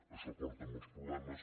això porta molts problemes